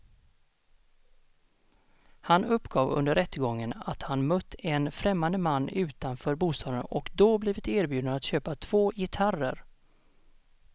Han uppgav under rättegången att han mött en främmande man utanför bostaden och då blivit erbjuden att köpa två gitarrer.